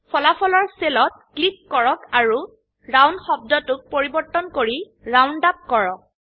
ফলাফলৰ সেলত ক্লিক কৰক আৰু ৰাউন্ড শব্দটোক পৰিবৰ্তন কৰি ৰাউন্ড -আপ কৰক